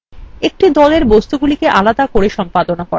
একটি দলের বস্তুগুলিকে আলাদা করে সম্পাদনা করা